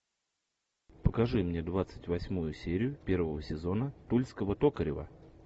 покажи мне двадцать восьмую серию первого сезона тульского токарева